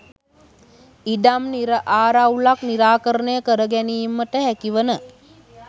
ඉඩම් ආරවුලක් නිරාකරණය කර ගැනීමට හැකිවන